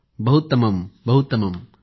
बहूत्तमम् बहूत्तमम्